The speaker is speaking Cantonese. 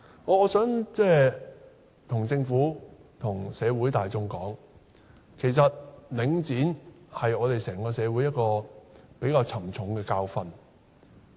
我想對政府和社會大眾說，其實領展是我們整個社會一個比較沉重的教訓。